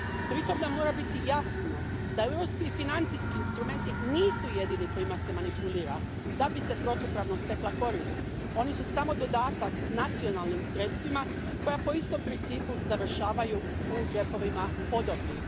Pritom nam mora biti jasno da europski financijski instrumenti nisu jedini kojima se manipulira da bi se protupravno stekla korist, oni su samo dodatak nacionalnim sredstvima koja po istom principu završavaju u džepovima podobnih.